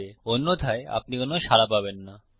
অন্যথায় আপনি কোনো সাড়া পাবেন না